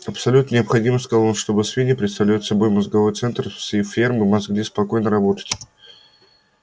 абсолютно необходимо сказал он чтобы свиньи представляют собой мозговой центр всей фермы могли спокойно работать